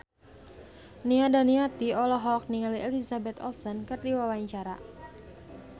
Nia Daniati olohok ningali Elizabeth Olsen keur diwawancara